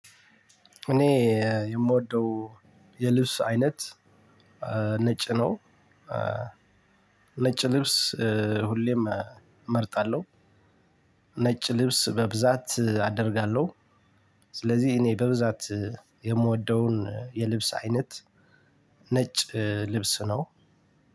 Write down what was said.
እኔ የምወደው የልብስ አይነት ነጭ ነው። ነጭ ልብስ ሁሌም እመርጣለሁ። ነጭ ልብስ በብዛት አደርጋለሁ። ስለዚህ እኔ በብዛት የምወደውን የልብስ አይነት ነጭ ልብስ ነው።